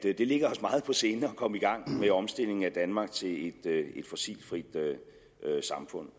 det ligger os meget på sinde at komme i gang med omstillingen af danmark til et fossilfrit samfund